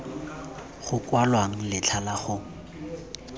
go kwalwang letlha la go